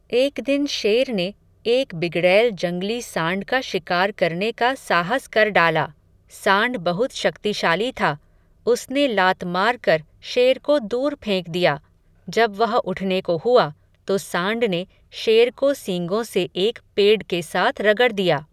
एक दिन शेर ने, एक बिगड़ैल जंगली सांड का शिकार करने का साहस कर डाला. सांड बहुत शक्तिशाली था. उसने लात मारकर शेर को दूर फेंक दिया, जब वह उठने को हुआ, तो सांड ने, शेर को सीगों से एक पेड के साथ रगड़ दिया.